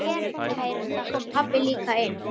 Nú kom pabbi líka inn.